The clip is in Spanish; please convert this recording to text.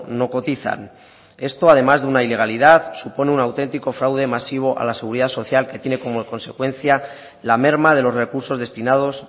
no cotizan esto además de una ilegalidad supone un autentico fraude masivo a la seguridad social que tiene como consecuencia la merma de los recursos destinados